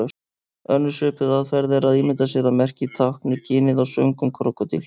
Önnur svipuð aðferð er að ímynda sér að merkið tákni ginið á svöngum krókódíl.